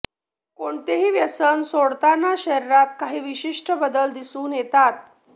कोणतेही व्यसन सोडवताना शरीरात काही विशिष्ट बदल दिसून येतात